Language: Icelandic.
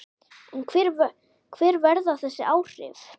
En hver verða þessi áhrif?